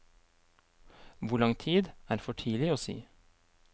Hvor lang tid, er for tidlig å si.